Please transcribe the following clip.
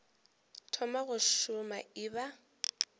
thoma go šoma e ba